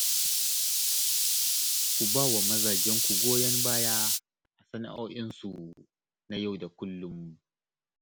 Ku ba wa mazajenku goyon baya a sana'o'insu na yau da kullum